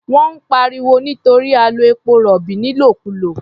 Wọ́n ń pariwo nítorí a lo epo-rọ̀bì nílòkulò.